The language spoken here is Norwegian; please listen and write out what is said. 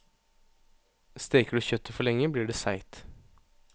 Steker du kjøttet for lenge, blir det seigt.